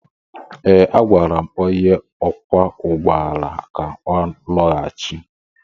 Ee, agwara m onye ọkwọ ụgbọ ala ka ọ lọghachi.